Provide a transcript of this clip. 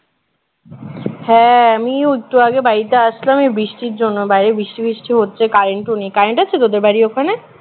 হ্যাঁ আমিও একটু আগে বাড়িতে আসলাম এই বৃষ্টির জন্য বাহিরে বৃষ্টি বৃষ্টি হচ্ছে current ও নেই current আছে তোদের বাড়ির ওখানে